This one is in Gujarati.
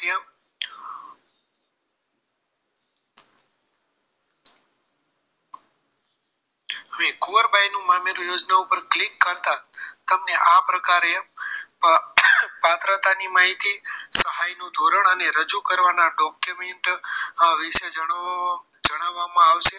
હવે કુંવરબાઈનું મામેરું યોજના ઉપર click કરતા તમને આ પ્રકારે પાત્રતાની માહિતી સહાયનું ધોરણ અને રજૂ કરવાના document વિશે જણાવવામાં આવશે